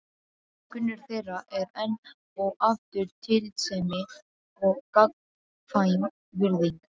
Grunnur þeirra er enn og aftur tillitssemi og gagnkvæm virðing.